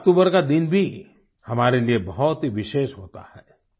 11 अक्टूबर का दिन भी हमारे लिए बहुत ही विशेष होता है